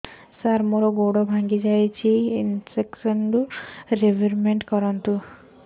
ସାର ମୋର ଗୋଡ ଭାଙ୍ଗି ଯାଇଛି ଇନ୍ସୁରେନ୍ସ ରିବେଟମେଣ୍ଟ କରୁନ୍ତୁ